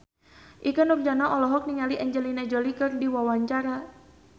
Ikke Nurjanah olohok ningali Angelina Jolie keur diwawancara